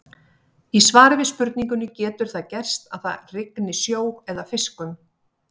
Í svari við spurningunni Getur það gerst að það rigni sjó eða fiskum?